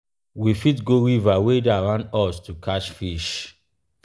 we fit go river wey dey around us to catch fish